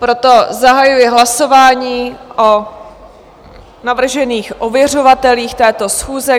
Proto zahajuji hlasování o navržených ověřovatelích této schůze.